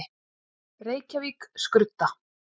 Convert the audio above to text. Reykjavík: Skrudda.